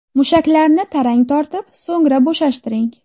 Mushaklarni tarang tortib, so‘ngra bo‘shashtiring.